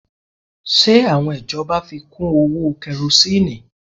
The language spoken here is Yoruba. Ṣe àwọn ìjọba fi kú owó Karosíìnù?